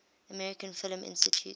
american film institute